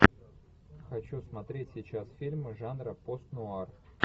хочу смотреть сейчас фильм жанра пост нуар